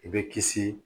I bɛ kisi